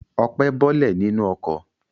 Ọpẹ́ bọ́lẹ̀ nínú ọkọ̀.